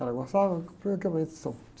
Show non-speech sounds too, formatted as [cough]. Ela gostava comprei aquele [unintelligible]